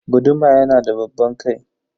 Guduma yanada babban kai.